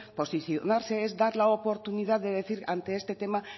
posicionarse es dar la oportunidad de decir ante este tema